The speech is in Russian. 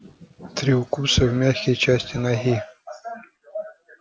три укуса в мягкие части ноги